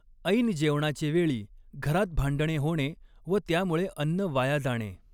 ऐन जेवणाचे वेळी घरात भांडणे होणे व त्यामुळे अन्न वाया जाणे.